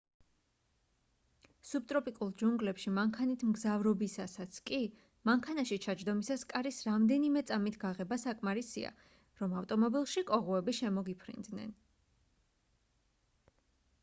სუბტროპიკულ ჯუნგლებში მანქანით მგზავრობისასაც კი მანქანაში ჩაჯდომისას კარის რამდენიმე წამით გაღება საკმარისია რომ ავტომობილში კოღოები შემოგიფრინდნენ